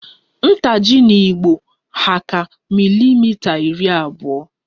Ntaji 'n'igbo hà ka milimita iri abụọ